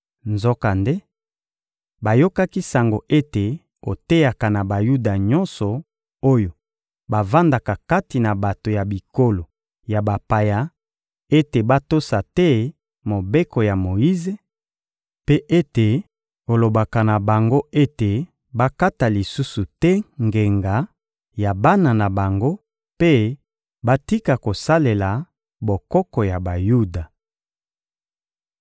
Nzokande, bayokaki sango ete oteyaka na Bayuda nyonso oyo bavandaka kati na bato ya bikolo ya bapaya ete batosa te Mobeko ya Moyize, mpe ete olobaka na bango ete bakata lisusu te ngenga ya bana na bango mpe batika kosalela bokoko ya Bayuda.